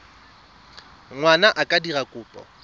ngwana a ka dira kopo